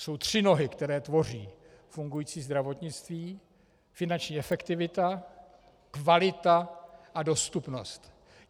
Jsou tři nohy, které tvoří fungující zdravotnictví: finanční efektivita, kvalita a dostupnost.